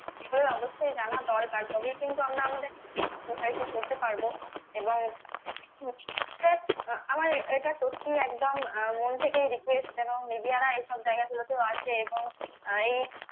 সেগুলো অবশ্যই জানা দরকার. তবেই কিন্তু আমরা আমাদের প্রসারিত করতে পারবো এবং আমার আহ এটা সত্যিই একদম মন থেকেই request যেন media রা এইসব জায়গাগুলোতেও আসে এবং আহ এই